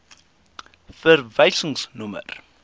verwysingsnommer